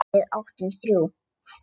Við áttum þrjú.